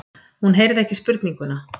Hún heyrði ekki spurninguna.